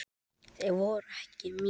Þeir voru ekki mínir.